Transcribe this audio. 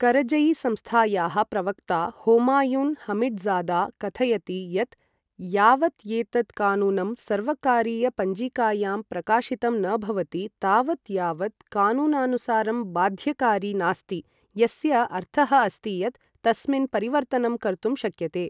करजई संस्थायाः प्रवक्ता होमायुन् हमिड्जादा कथयति यत्, यावत् एतत् कानूनम् सर्वकारीयपञ्जिकायां प्रकाशितं न भवति तावत् यावत् कानूनानुसारं बाध्यकारी नास्ति, यस्य अर्थः अस्ति यत् तस्मिन् परिवर्तनं कर्तुं शक्यते।